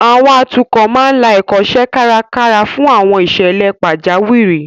Àwọn atukọ̀ máa ń la Ẹ̀kọ́ṣẹ́ kárakára fún àwọn ìṣẹ̀lẹ̀ pajawiri